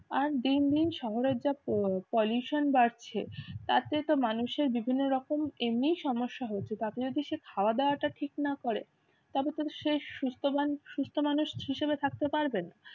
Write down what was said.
আর দিন দিন শহরের যা প pollution বাড়ছে তার থেকে তো মানুষের বিভিন্ন রকম এমনি সমস্যা হচ্ছে তাতে যদি সে খাওয়া-দাওয়া টা ঠিক না করে তবে তো সে সুস্থবান সুস্থ মানুষ হিসেবে থাকতে পারবে না।